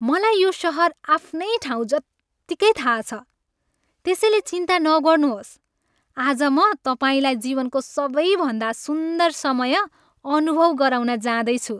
मलाई यो सहर आफ्नै ठाउँजत्तिकै थाहा छ, त्यसैले चिन्ता नगर्नुहोस्, आज म तपाईँलाई जीवनको सबैभन्दा सुन्दर समय अनुभव गराउन जाँदैछु।